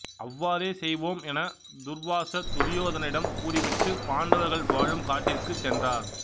அவ்வாறே செய்வோம் என துர்வாசர் துரியோதனனிடம் கூறிவிட்டுப் பாண்டவர்கள் வாழும் காட்டிற்குச் சென்றார்